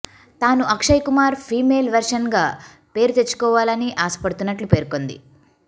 తాను Akshay Kumar female version గా పేరు తెచ్చుకోవాలని ఆశపడుతున్నట్లు పేర్కొంది